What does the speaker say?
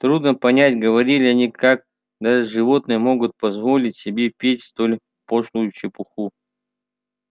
трудно понять говорили они как даже животные могут позволить себе петь столь пошлую чепуху